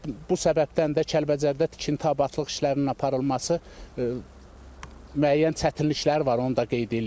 Və bu səbəbdən də Kəlbəcərdə tikinti, abadlıq işlərinin aparılması müəyyən çətinlikləri var, onu da qeyd eləyim ki.